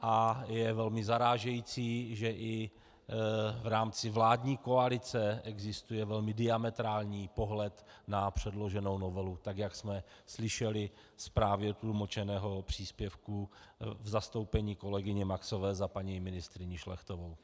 A je velmi zarážející, že i v rámci vládní koalice existuje velmi diametrální pohled na předloženou novelu, tak jak jsme slyšeli z právě tlumočeného příspěvku v zastoupení kolegyně Maxové za paní ministryni Šlechtovou.